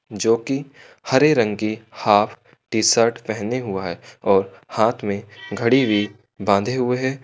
जोकि हरे रंग की हाफ टीशर्ट पहने हुआ है और हाथ में घड़ी भी बांधे हुए हैं।